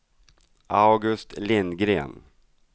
August Lindgren